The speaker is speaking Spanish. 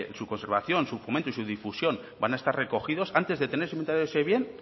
su conservación su fomento y su difusión van a estar recogidos antes de tener el inventario de ese bien